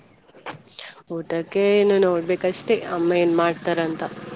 ಊಟಕ್ಕೆ ಇನ್ನು ನೋಡ್ಬೇಕಷ್ಟೆ ಅಮ್ಮ ಏನ್ ಮಾಡ್ತಾರಂತ.